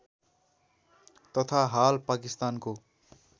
तथा हाल पाकिस्तानको